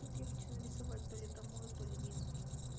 тут я хочу нарисовать то ли томоэ то ли мидзыки